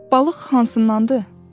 Balıq hansındandır?